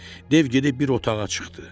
Dev gedib bir otağa çıxdı.